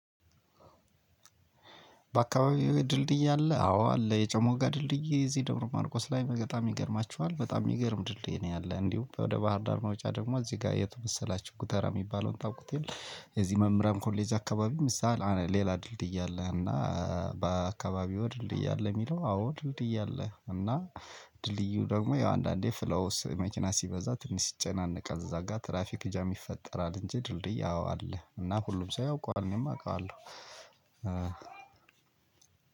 በአካባቢው ድልድይ አለ? አዎ አለ የጨሞጋ ድልድይ የዚህ ደብረ ማርቆስ ላይ በጣም ይገርማችኋል። በጣም የሚገርም ድልድይ ነው ያለ። እንዲሁ ወደ ባህር ዳር መውጫ ደግሞ እዚህ ጋር የተመሰላችሁ? ጉተራ የሚባለውን ታውቁት የለም? የዚህ መምህራን ኮሌጅ አካባቢ ምሳሌ ሌላ ድልድይ አለ። እና በአከባቢዎ ድንድይ አለ? የሚለው አዎ ድልድይ አለ። እና ድልድዩ ደግሞ ያው አንዳንዴ ፍሎውስ መኪና ሲበዛ ትንሽ ሲጨናነቅ እዛ ጋር ትራፊክ ጃም ይፈጠራል፣ እንጂ ድርድይ አዎ አለ። እና ሁሉም ሰው ያውቀዋል። እኔም አውቃለሁ።